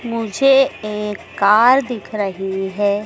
मुझे एक कार दिख रही है।